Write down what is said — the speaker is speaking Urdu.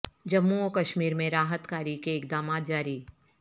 جموں و کشمیر میں راحت کاری کے اقدامات جاری